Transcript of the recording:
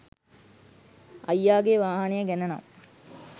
අයියාගේ වාහනය ගැන නම්